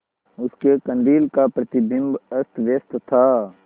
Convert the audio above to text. उसके कंदील का प्रतिबिंब अस्तव्यस्त था